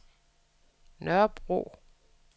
Nørrebro